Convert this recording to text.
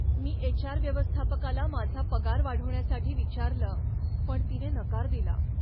मी H. R. व्यवस्थापकाला माझा पगार वाढवण्यासाठी विचारलं पण तिने नकार दिला.